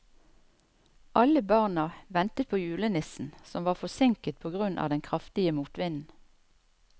Alle barna ventet på julenissen, som var forsinket på grunn av den kraftige motvinden.